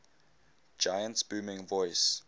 giant's booming voice